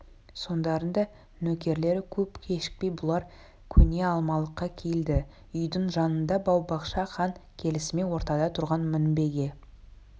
соңдарында нөкерлері көп кешікпей бұлар көне алмалыққа келді үйдің жанында бау-бақша хан келісімен ортада тұрған мінбеге